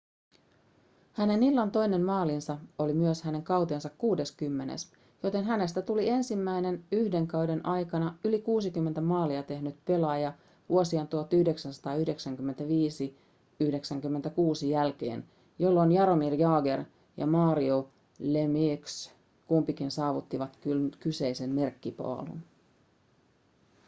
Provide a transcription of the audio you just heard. hänen illan toinen maalinsa oli myös hänen kautensa kuudeskymmenes joten hänestä tuli ensimmäinen yhden kauden aikana yli 60 maalia tehnyt pelaaja vuosien 1995-96 jälkeen jolloin jaromir jagr ja mario lemieux kumpikin saavuttivat kyseisen merkkipaalun